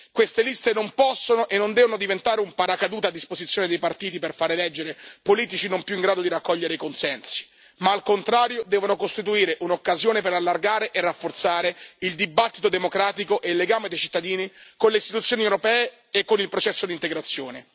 Queste liste non possono e non devono diventare un paracadute a disposizione dei partiti per fare eleggere politici non più in grado di raccogliere i consensi, ma al contrario devono costituire un'occasione per allargare e rafforzare il dibattito democratico e il legame dei cittadini con le istituzioni europee e con il processo di integrazione.